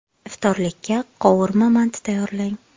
Iftorlikka qovurma manti tayyorlang.